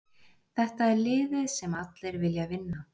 Þetta er liðið sem allir vilja vinna.